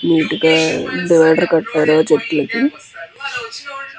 neat గ కట్టారు చెట్లుకి --